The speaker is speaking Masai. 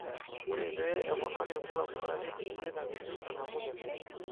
ore pee eponari irbulabol naa keidimi neitakini enamuke najing'